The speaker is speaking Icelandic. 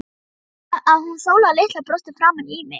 Veistu það, að hún Sóla litla brosti framan í mig.